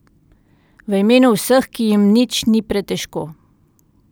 V imenu vseh, ki jim nič ni pretežko.